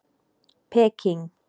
Peking